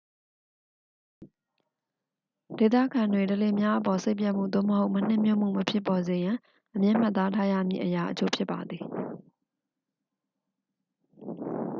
ဒေသခံတွေ ဓလေ့များအပေါ် စိတ်ပျက်မှု သို့မဟုတ် မနှစ်မြို့မှု မဖြစ်ပေါ်စေရန် အမြဲမှတ်သားထားရမည့် အရာအချို့ ဖြစ်ပါသည်